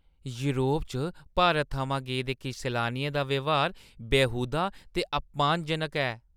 Europe च भारत थमां गेदे किश सैलानियें दा ब्यहार बेहूदा ते अपमानजनक ऐ।